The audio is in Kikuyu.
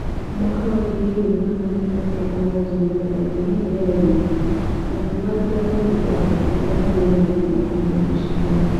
Mwaka wa ngiri ĩmwe magana kenda mĩrongo mũgwanja na ĩtandatũ nĩ aathire London, na akiuga atĩ andũ a Zimbabwe kũgĩa na wĩyathie no kũhũthĩra mũcinga.